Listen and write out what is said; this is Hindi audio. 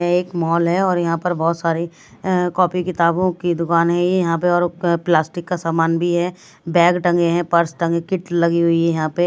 एक मॉल हैऔर यहाँ पर बहुत सारी कॉपी किताबों की दुकान है ये यहाँ पे और प्लास्टिक का सामान भी है बैग टंगे हैं पर्स टंगे किट लगी हुई है यहाँ पे--